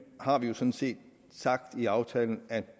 har vi jo sådan set sagt i aftalen at